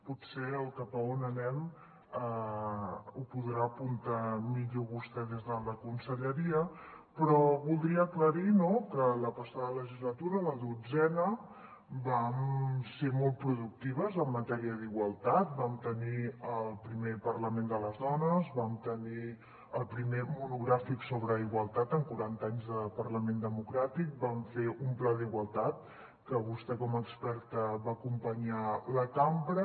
potser el cap a on anem ho podrà apuntar millor vostè des de la conselleria però voldria aclarir que la passada legislatura la dotzena vam ser molt productives en matèria d’igualtat vam tenir el primer parlament de les dones vam tenir el primer monogràfic sobre igualtat en quaranta anys de parlament democràtic vam fer un pla d’igualtat que vostè com a experta hi va acompanyar la cambra